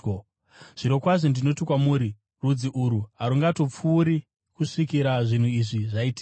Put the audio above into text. “Zvirokwazvo ndinoti kwamuri, rudzi urwu harungatongopfuuri kusvikira zvinhu izvi zvaitika.